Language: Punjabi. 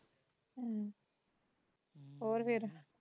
ਹਮ ਹੋਰ ਫੇਰ